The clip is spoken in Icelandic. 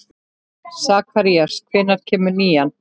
Sakarías, hvenær kemur nían?